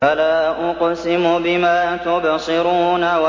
فَلَا أُقْسِمُ بِمَا تُبْصِرُونَ